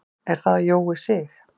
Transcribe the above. Er það Jói Sig?